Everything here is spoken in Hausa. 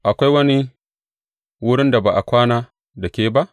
Akwai wani wurin da ba a kwana da ke ba?